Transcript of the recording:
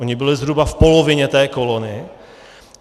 Ony byly zhruba v polovině té kolony.